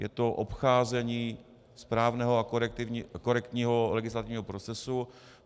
Je to obcházení správného a korektního legislativního procesu.